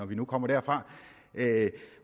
vi nu kommer derfra at